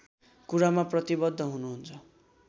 कुरामा प्रतिवद्ध हुनुहुन्छ